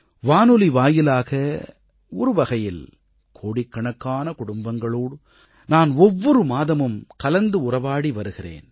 வானொலி வாயிலாக ஒரு வகையில் கோடிக்கணக்கான குடும்பங்களோடு நான் ஒவ்வொரு மாதமும் கலந்து உறவாடி வருகிறேன்